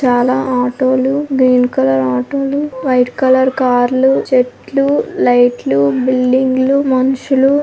చాలా ఆటోలు green colour auto లు వైట్ కలర్ కారు లు చెట్లు లైట్ లు బిల్డింగు లు మనుషులు --